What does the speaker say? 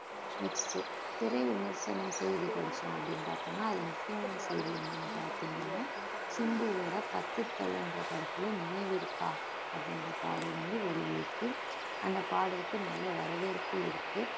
next திரை விமர்சனம் செய்தி படிச்சோம் அப்படின்னு பார்த்தோம்ன்னா அதுல முக்கியமான செய்தி என்னன்னு பார்த்தீங்கன்னா சிம்புவோட பத்து தலை என்ற படத்துல நினைவிருக்கா அப்படின்ற பாடல் வந்து வெளியாயிருக்கு அந்த பாடலுக்கு நல்ல வரவேற்பு இருக்கு